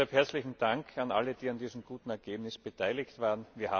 Deshalb herzlichen Dank an alle, die an diesem guten Ergebnis beteiligt waren.